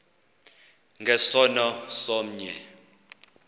nge sono somnye